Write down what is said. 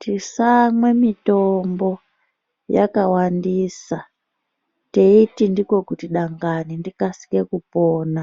Tisamwa mitombo yakawandisa teiti ndiko kuti dangani ndikasike kupona,